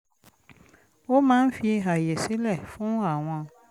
ó máa ń fi àyè sílẹ̀ fún àwọn